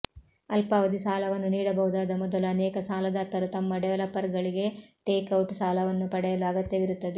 ಅಲ್ಪಾವಧಿ ಸಾಲವನ್ನು ನೀಡಬಹುದಾದ ಮೊದಲು ಅನೇಕ ಸಾಲದಾತರು ತಮ್ಮ ಡೆವಲಪರ್ಗಳಿಗೆ ಟೇಕ್ಔಟ್ ಸಾಲವನ್ನು ಪಡೆಯಲು ಅಗತ್ಯವಿರುತ್ತದೆ